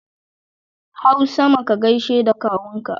Hau sama ka gaishe da Kawunka